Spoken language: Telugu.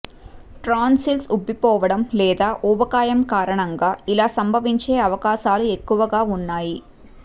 టాన్సిల్స్ ఉబ్బిపోవడం లేదా ఊబకాయం కారణంగా ఇలా సంభవించే అవకాశాలు ఎక్కువగా ఉన్నాయి